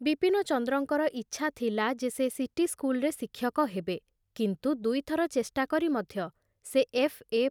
ବିପିନଚନ୍ଦ୍ରଙ୍କର ଇଚ୍ଛା ଥିଲା ଯେ ସେ ସିଟି ସ୍କୁଲରେ ଶିକ୍ଷକ ହେବେ; କିନ୍ତୁ ଦୁଇଥର ଚେଷ୍ଟା କରି ମଧ୍ୟ ସେ ଏଫ୍ ଏ